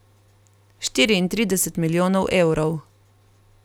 Štiriintrideset milijonov evrov.